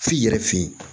F'i yɛrɛ fe yen